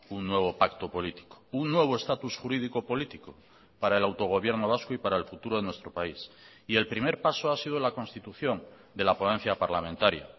un nuevo pacto político un nuevo estatus jurídico político para el autogobierno vasco y para el futuro de nuestro país y el primer paso ha sido la constitución de la ponencia parlamentaria